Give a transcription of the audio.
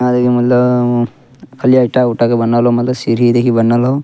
खाली ईटा उटा के बनल होअ मतलब खाली सीढ़ी देखी बनल होअ।